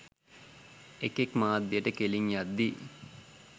එකෙක් මාධ්‍යට කෙලින්න යද්දී